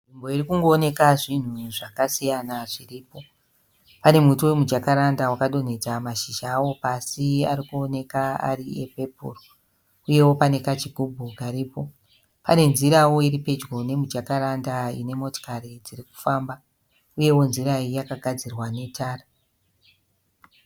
Nzvimbo iri kungoeneka zvinhu zvakasiyana zviripo. Pane muti wemuJacaranda wakadonhedza mashizha awo pasi ari kuoneka ari epepuru, uye pane kachigubhu kari po. Pane nzirawo iri pedyo ne mujacaranda ine motokari dziri kufamba, uyewo nzira iyi yakagadzirwa netara.